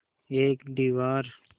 एक दीवार